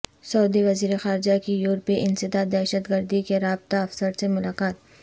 سعودی وزیر خارجہ کی یورپی انسداد دہشتگردی کے رابطہ افسر سے ملاقات